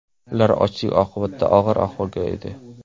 Ular ochlik oqibatida og‘ir ahvolda edi.